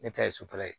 Ne ta ye sotara ye